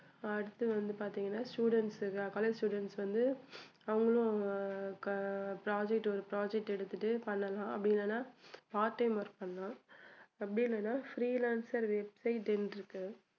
அடுத்து வந்து பாத்தீங்கன்னா students college students வந்து அவங்களும் project ஒரு project எடுத்துட்டு பண்ணலாம் அப்படி இல்லன்னா part time work பண்ணலாம் அப்படி இல்லன்னா freelancer website ன்னு இருக்கு